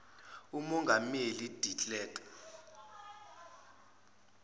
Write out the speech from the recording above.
umongameli de klerk